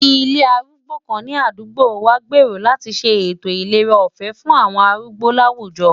Ilé arúgbó kan ní àdúgbò wa n gbèrò láti ṣe ètò ìlera ọ̀fẹ́ fún àwọn arúgbó láwùjọ.